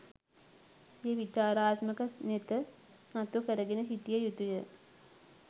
සිය විචාරාත්මක නෙත නතු කරගෙන සිටිය යුතුය.